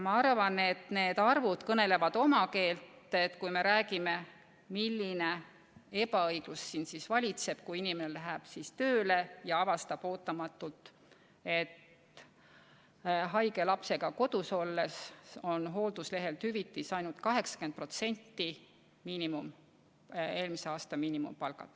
Ma arvan, et need arvud kõnelevad oma keelt, kui me räägime, milline ebaõiglus valitseb, kui inimene läheb tööle ja avastab ootamatult, et haige lapsega kodus olles on makstav hüvitis ainult 80% eelmise aasta miinimumpalgast.